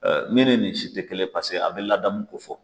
Ɛɛ min nii nin si tɛ kelen ye, paseke a bɛ ladamu ko fɔ.